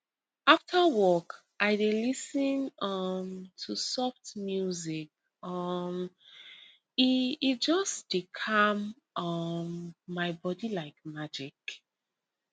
after work i dey lis ten um to soft music um e e just dey calm um my body like magic